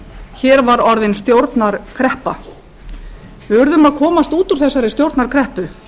hér var orðin stjórnarkreppa við urðum að komast út úr þessari stjórnarkreppu